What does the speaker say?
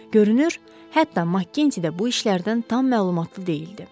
Görünür, hətta Makginti də bu işlərdən tam məlumatlı deyildi.